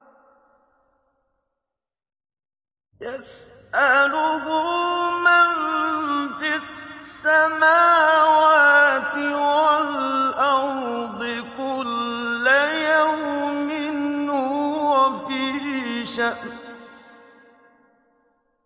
يَسْأَلُهُ مَن فِي السَّمَاوَاتِ وَالْأَرْضِ ۚ كُلَّ يَوْمٍ هُوَ فِي شَأْنٍ